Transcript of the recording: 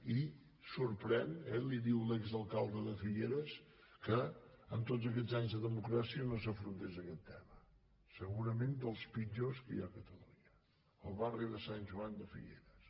i sorprèn eh li ho diu l’exalcalde de figueres que amb tots aquests anys de democràcia no s’afrontés aquest tema segurament dels pitjors que hi ha a catalunya el bar·ri de sant joan de figueres